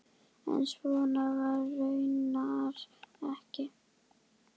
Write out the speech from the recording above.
En svo var raunar ekki.